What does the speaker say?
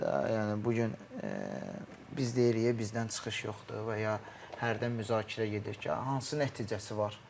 Yəni bu gün biz deyirik ki, bizdən çıxış yoxdur, və ya hərdən müzakirə gedir ki, hansı nəticəsi var?